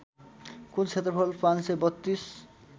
कुल क्षेत्रफल ५३२